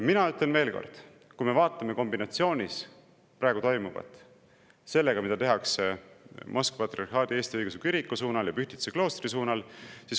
Ma ütlen veel kord, et vaatame praegu toimuvat kombinatsioonis sellega, mida tehakse Moskva Patriarhaadi Eesti Õigeusu Kiriku suunal ja Pühtitsa kloostri suunal.